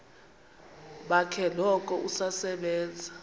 bakhe noko usasebenza